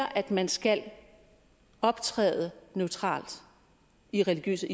at man skal optræde neutralt i religiøs